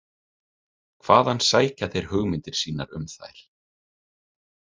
Hvaðan sækja þeir hugmyndir sínar um þær?